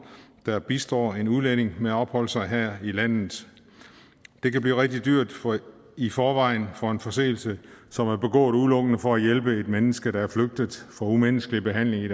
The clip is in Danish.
der bistår en udlænding med at opholde sig her i landet det kan blive rigtig dyrt i forvejen for en forseelse som er begået udelukkende for at hjælpe et menneske der er flygtet fra umenneskelig behandling i